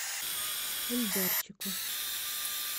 эльдарчику